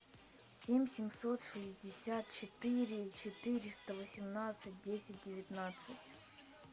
семь семьсот шестьдесят четыре четыреста восемнадцать десять девятнадцать